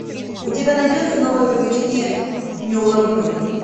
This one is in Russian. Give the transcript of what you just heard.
у тебя найдется новые приключения неуловимых